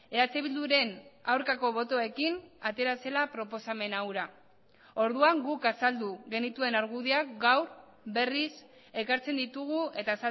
eh bilduren aurkako botoekin atera zela proposamen hura orduan guk azaldu genituen argudioak gaur berriz ekartzen ditugu eta